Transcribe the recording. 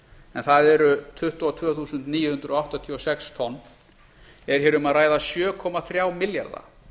en það eru tuttugu og tvö þúsund níu hundruð áttatíu og sex tonn er hér um að ræða sjö komma þrjá milljarða